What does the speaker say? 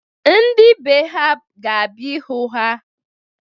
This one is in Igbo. Ndị be ha ga-abia ịhụ ha.